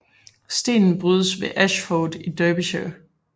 Stenen brydes ved Ashford i Derbyshire